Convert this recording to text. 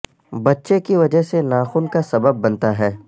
بچے کی وجہ سے ناخن کا سبب بنتا ہے